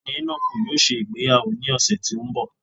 Ọgbẹni Enoku yóò ṣe ìgbéyàwó ni ọsẹ ti n bọ